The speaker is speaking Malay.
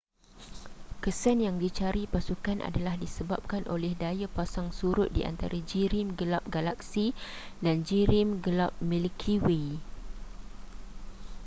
kesan yang dicari pasukan adalah disebabkan oleh daya pasang surut di antara jirim gelap galaksi dan jirim gelap milky way